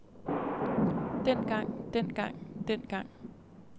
dengang dengang dengang